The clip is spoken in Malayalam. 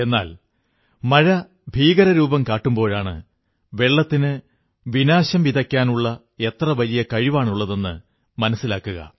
എന്നാൽ മഴ ഭീകരരൂപം കാട്ടുമ്പോഴാണ് വെള്ളത്തിന് വിനാശം വിതയ്ക്കാനുള്ള എത്ര വലിയ കഴിവാണുള്ളതെന്നു മനസ്സിലാവുക